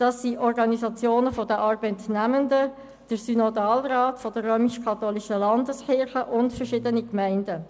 Diese kamen von Organisationen der Arbeitnehmenden, vom Synodalrat der RömischKatholischen Landeskirche und von verschiedenen Gemeinden.